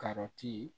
Karɔti